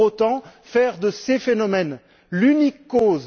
Pour autant, faire de ces phénomènes l'unique cause...